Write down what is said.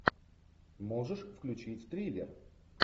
можешь включить триллер